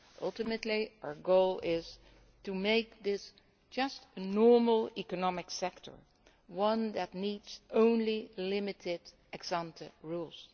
Ultimately, our goal is to make this a normal' economic sector, one that needs only limited ex ante